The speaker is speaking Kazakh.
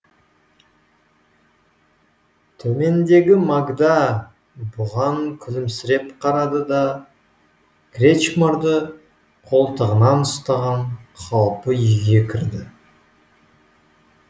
төмендегі магда бұған күлімсіреп қарады да кречмарды қолтығынан ұстаған қалпы үйге кірді